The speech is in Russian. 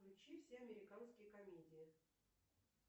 включи все американские комедии